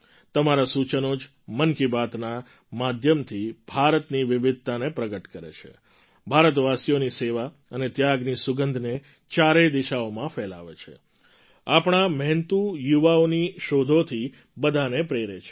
તમારાં સૂચનો જ મન કી બાતના માધ્યમથી ભારતની વિવિધતાને પ્રગટ કરે છે ભારતવાસીઓની સેવા અને ત્યાગની સુગંધને ચારેય દિશાઓમાં ફેલાવે છે આપણા મહેનતુ યુવાઓની શોધોથી બધાને પ્રેરે છે